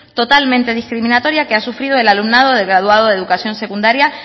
totalmente discriminatoria que ha sufrido el alumnado de graduado de educación secundaria